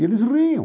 E eles riam.